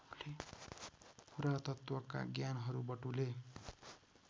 पुरातत्त्वका ज्ञानहरू बटुले